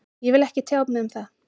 Ég vil ekki tjá mig um það